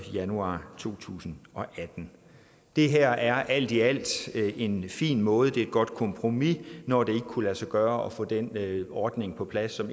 januar to tusind og atten det her er alt i alt en fin måde det er et godt kompromis når det ikke kunne lade sig gøre at få den ordning på plads som